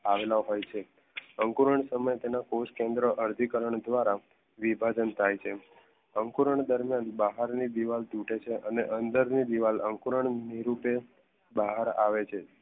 પાડેલા હોય છે અંકુરન સમય તેના અર્થી કારણ ધ્વારા વિભાજન થઈ છે અકુરાન દરમ્યાન બહાર ની દિવાલ તૂટે છે અંદર ની દીવાલ અંકુરન નિરુતે બહાર આવે છે